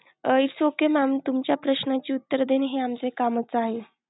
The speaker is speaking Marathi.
Its okay mam तुमच्या प्रश्नची उत्तरे देणे हे आमचं कामच आहे.